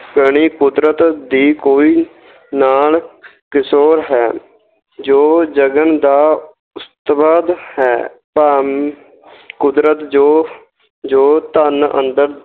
ਕਣੀ ਕੁਦਰਤ ਦੀ ਕੋਈ ਨਾਲ ਹੈ, ਜੋ ਜਗਣ ਦਾ ਕੁਦਰਤ ਜੋ ਜੋ ਧਨ ਅੰਦਰ